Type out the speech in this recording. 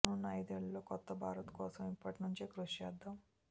రానున్న ఐదేళ్లలో కొత్త భారత్ కోసం ఇప్పటి నుంచే కృషి చేద్దాం